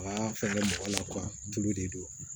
Aa fɛngɛ mɔgɔ la tulu de don